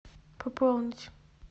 пополнить